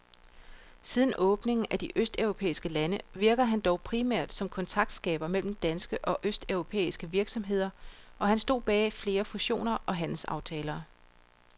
Siden åbningen af de østeuropæiske lande virkede han dog primært som kontaktskaber mellem danske og østeuropæiske virksomheder, og han stod bag flere fusioner og handelsaftaler.